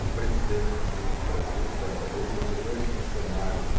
Um presidente do Banco do Brasil, certa vez, mandou dois funcionários